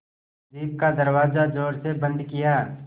jeep का दरवाज़ा ज़ोर से बंद किया